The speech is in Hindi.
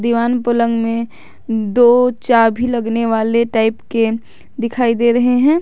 दीवान पलंग में दो चाभी लगने वाले टाइप के दिखाई दे रहे हैं।